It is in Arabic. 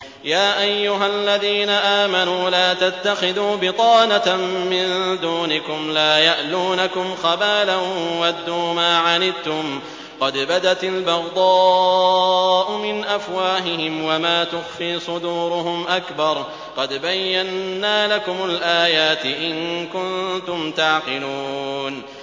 يَا أَيُّهَا الَّذِينَ آمَنُوا لَا تَتَّخِذُوا بِطَانَةً مِّن دُونِكُمْ لَا يَأْلُونَكُمْ خَبَالًا وَدُّوا مَا عَنِتُّمْ قَدْ بَدَتِ الْبَغْضَاءُ مِنْ أَفْوَاهِهِمْ وَمَا تُخْفِي صُدُورُهُمْ أَكْبَرُ ۚ قَدْ بَيَّنَّا لَكُمُ الْآيَاتِ ۖ إِن كُنتُمْ تَعْقِلُونَ